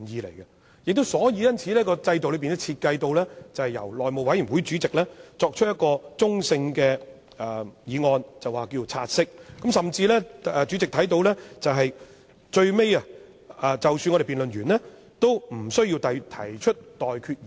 因此，根據現時的制度設計，會由內務委員會主席提出中性的議案，名為"察悉議案"，甚至，正如主席也許會留意到，即使最後議員完成辯論，主席也無須提出待決議題。